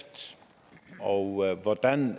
og hvordan